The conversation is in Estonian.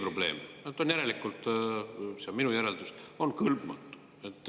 No ta on järelikult – see on minu järeldus – kõlbmatu.